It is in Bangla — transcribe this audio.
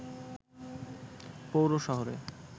পৌর শহরে